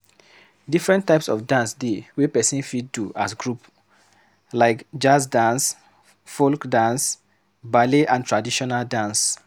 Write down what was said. Different types of dance dey wey person fit do as group, like jazz dance, folk dance, ballet and traditional dance